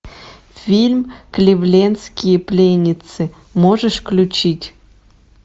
фильм кливлендские пленницы можешь включить